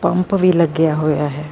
Pump ਵੀ ਲੱਗਿਆ ਹੋਇਆ ਹੈ।।